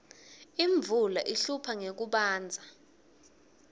imvula ihlupha ngekubandza